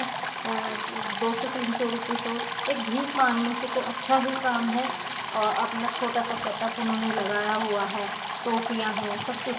अअ दो सौ तीन सौ रुपये तो एक भीक मांगने से तो अच्छा ही काम है | अ अपना छोटा सा सेटप उन्होंने लगाया हुआ है | टॉफियां है सब कुछ --